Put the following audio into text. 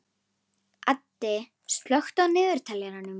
Addi, slökktu á niðurteljaranum.